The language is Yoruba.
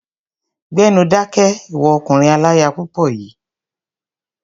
Gbẹ́nu dákẹ́! Ìwọ ọkùnrin aláya púpọ̀ yìí.